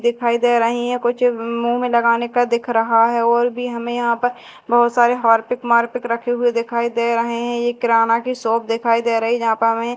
दिखाई दे रही हैं कुछ मुंह में लगाने का दिख रहा है और भी हमें यहां पर बहुत सारे हार्पिक वार्पिक रखे हुए दिखाई दे रहे हैं यह किराना की शॉप दिखाई दे रही यहां पर हमें--